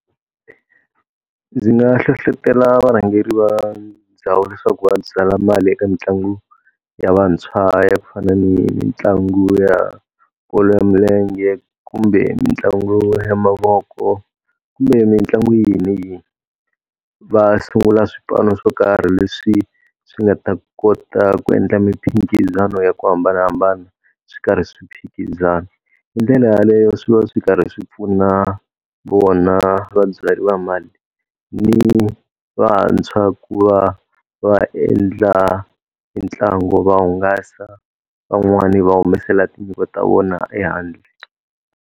Ndzi nga hlohletela varhangeri va ndhawu leswaku va byala mali eka mitlangu ya vantshwa ya ku fana ni mitlangu ya bolo ya milenge, kumbe mitlangu ya mavoko, kumbe mitlangu yini ni yini. Va sungula swipano swo karhi leswi swi nga ta kota ku endla miphikizano ya ku hambanahambana, swi karhi swi phikizana. Hi ndlela yaleyo swi va swi karhi swi pfuna vona vabyari va mali ni vantshwa ku va va endla mitlangu, va hungasa, van'wani va humesela tinyiko ta vona ehandle.